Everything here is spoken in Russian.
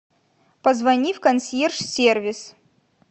позвони в консьерж сервис